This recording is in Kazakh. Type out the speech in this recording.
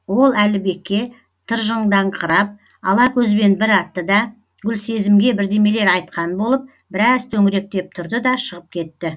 ол әлібекке тыржыңдаңқырап ала көзбен бір атты да гүлсезімге бірдемелер айтқан болып біраз төңіректеп тұрды да шығып кетті